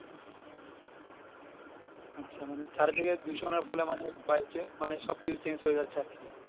আচ্ছা মানে চারি দিকে দূষণের ফলে মানে বাইরে সবকিছু Change হয়ে যাচ্ছে আরকি